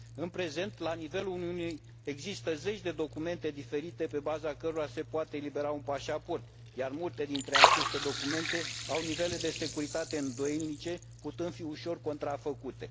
În prezent, la nivelul Uniunii există zeci de documente diferite pe baza cărora se poate elibera un pașaport, iar multe dintre aceste documente au nivele de securitate îndoielnice, putând fi ușor contrafăcute.